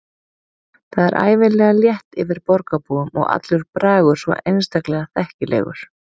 Það er ævinlega létt yfir borgarbúum og allur bragur svo einstaklega þekkilegur.